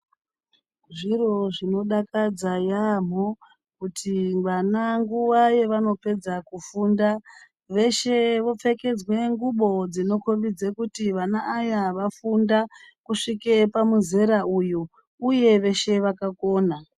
Zviro zvinodakadza yaamho kuti vana nguwa yevanopedza kufunda veshe vopfekedzwe ngubo dzinokombidze kuti vana aya vafunda kusvike pamuzera uyu uye veshe vakakona.